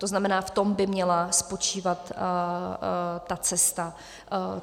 To znamená, v tom by měla spočívat ta cesta.